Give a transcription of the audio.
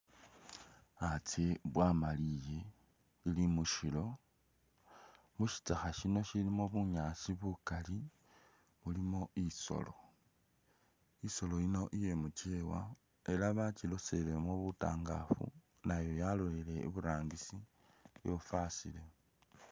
A tsye bwamaliye, ili mushilo, mushitsakha shino shilimo bunyaasi bukali mulimo isolo, isolo yino iye mukyewa ela bakyiloselemo mutangafu nayo yaloleleye i burangisi yofasile.